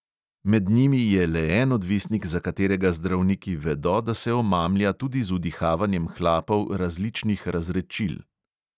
Med njimi je le en odvisnik, za katerega zdravniki vedo, da se omamlja tudi z vdihavanjem hlapov različnih razredčil.